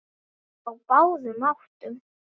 Á báðum áttum.